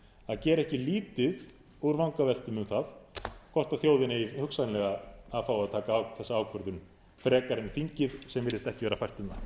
að gera ekki lítið úr vangaveltum um það hvort þjóðin eigi hugsanlega að fá að taka þessa ákvörðun frekar en þingið sem